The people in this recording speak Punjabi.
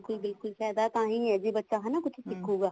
ਕੋਈ ਬਿਲਕੁਲ ਫਾਇਦਾ ਤਾਂਹੀ ਹੈ ਜੇ ਬੱਚਾ ਕੁੱਝ ਸਿੱਖੁਗਾ